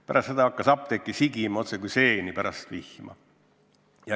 Pärast seda hakkas apteeke sigima otsekui seeni pärast vihma.